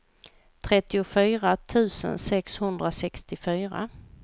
trettiofyra tusen sexhundrasextiofyra